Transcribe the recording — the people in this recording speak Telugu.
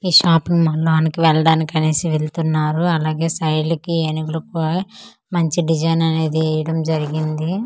ఈ షాపింగ్ మాల్ లోనికి వెళ్ళడానికి అనేసి వెళ్తున్నారు అలాగే సైడ్ కి ఏనుగులు కూడా మంచి డిజైన్ అనేది వేయడం జరిగింది.